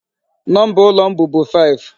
Number ụlọ m bụbu 5.